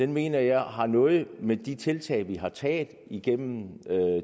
mener jeg har noget med de tiltag vi har taget igennem